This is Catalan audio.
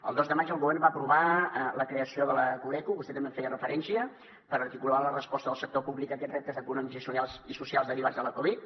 el dos de maig el govern va aprovar la creació de la coreco vostè també hi feia referència per articular la resposta del sector públic a aquests reptes econòmics i socials derivats de la covid